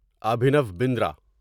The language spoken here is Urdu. ابھینو بندرا